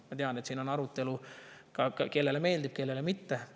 Ma tean, et siin on arutelu, kellele see meeldib, kellele mitte.